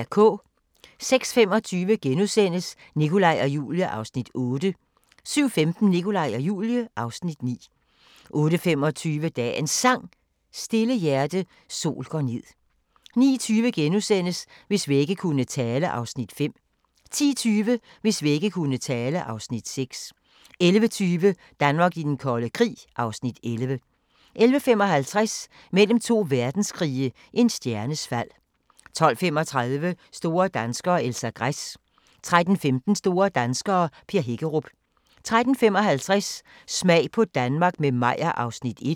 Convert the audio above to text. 06:25: Nikolaj og Julie (Afs. 8)* 07:15: Nikolaj og Julie (Afs. 9) 08:25: Dagens Sang: Stille hjerte, sol går ned 09:20: Hvis vægge kunne tale (Afs. 5)* 10:20: Hvis vægge kunne tale (Afs. 6) 11:20: Danmark i den kolde krig (Afs. 11) 11:55: Mellem to verdenskrige - en stjernes fald 12:35: Store danskere - Elsa Gress 13:15: Store danskere - Per Hækkerup 13:55: Smag på Danmark – med Meyer (Afs. 1)